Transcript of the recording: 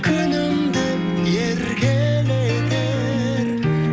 күнім деп еркелетер